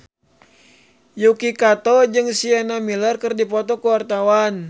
Yuki Kato jeung Sienna Miller keur dipoto ku wartawan